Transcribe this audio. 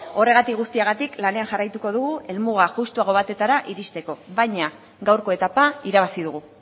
horregatik guztiagatik lanean jarraituko dugu helmuga justuago batetara iristeko baina gaurko etapa irabazi dugu